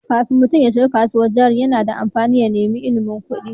Kafin mutum ya shiga kasuwar jari, yana da amfani ya nemi ilimin kuɗi.